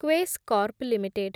Quess Corp limited